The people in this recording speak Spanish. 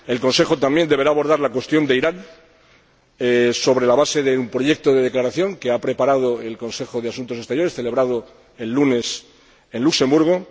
el Consejo también deberá abordar la cuestión de Irán, sobre la base de un proyecto de declaración, que ha preparado el Consejo de Asuntos Exteriores, celebrado el lunes en Luxemburgo